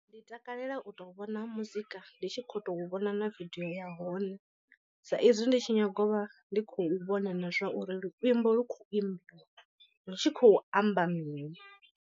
Ndi takalela u to vhona muzika ndi tshi kho to vhona na vidiyo ya hone sa izwi ndi tshi nyaga u vha ndi khou vhona na zwa uri luimbo lu khou imbiwa lu tshi khou amba mini.